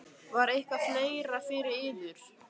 Var það eitthvað fleira fyrir yður?